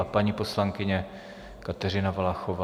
A paní poslankyně Kateřina Valachová.